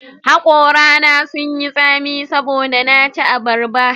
Hakorana sun yi tsami saboda na ci abarba